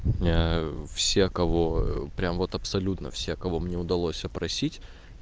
все кого прямо вот абсолютно все кого мне удалось опросить